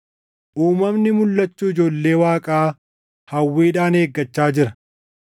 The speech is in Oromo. Uumamni mulʼachuu ijoollee Waaqaa hawwiidhaan eeggachaa jira.